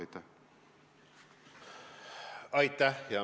Aitäh!